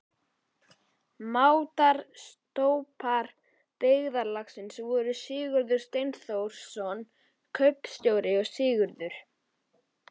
Máttar- stólpar byggðarlagsins voru Sigurður Steinþórsson kaupfélagsstjóri og Sigurður